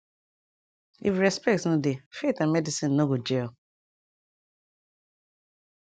if respect no dey faith and medicine no go gel